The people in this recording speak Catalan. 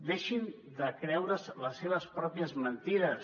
deixin de creure’s les seves pròpies mentides